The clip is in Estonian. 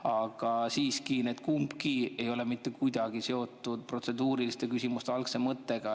Aga siiski, kummagi ei ole mitte kuidagi seotud protseduuriliste küsimuste algse mõttega.